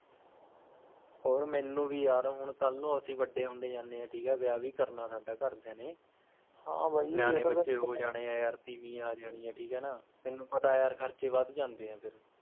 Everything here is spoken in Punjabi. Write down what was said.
ਹੋਰ ਮੈਨੂੰ ਵੀ ਯਾਰ ਹੁਣ ਕੱਲ ਨੂੰ ਅਸੀ ਵੱਡੇ ਹੁੰਦੇ ਜਾਨੇ ਆਂ ਠੀਕ ਹੈ ਵਿਆਹ ਵੀ ਕਰਨਾ ਸਾਡਾ ਘਰਦਿਆ ਨੇ ਹਾਂ ਬਹਿ ਨਿਆਣੇ ਬੱਚੇ ਹੋ ਜਾਣੇ ਆਂ ਯਾਰ ਤੀਵੀਂ ਆ ਜਾਣੀ ਹੈ ਠੀਕ ਹੈ ਨਾ, ਤੈਨੂੰ ਪਤਾ ਹੈ ਯਾਰ ਖਰਚੇ ਵੱਧ ਜਾਂਦੇ ਹੈ ਫਿਰ